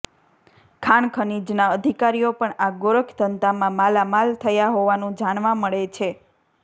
ખાણખનીજના અધિકારીઓ પણ આ ગોરખધંધામાં માલામાલ થયા હોવાનું જાણવા મળે છે